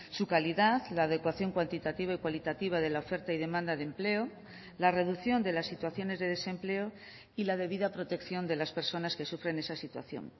su calidad la adecuación cuantitativa y cualitativa de la oferta y demanda de empleo la reducción de las situaciones de desempleo y la debida protección de las personas que sufren esa situación